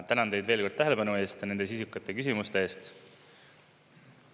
Tänan teid veel kord tähelepanu eest ja nende sisukate küsimuste eest.